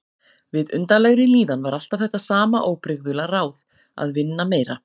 Við undarlegri líðan var alltaf þetta sama óbrigðula ráð: Að vinna meira.